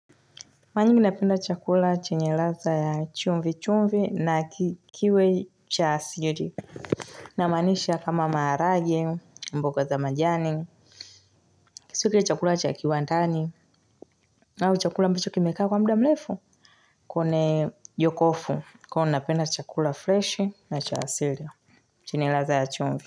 Mara nyingi napenda chakula chenye ladha ya chumvi chumvi na kiwe cha asili namaanisha kama maharagwe mboga za majani Kisiwe chakula cha kiwandani au chakula ambacho kimekaa kwa muda mrefu Kone yokofu kama unapenda chakula freshi na cha asili chenye ladha ya chumvi.